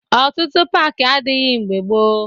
Ọtụtụ paakị adịghị mgbe gboo